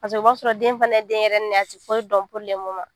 Paseke o b'a sɔrɔ den fana ye denyɛrɛnin de ye a tɛ foyi dɔn